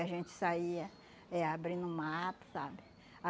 a gente saía eh abrindo o mato, sabe?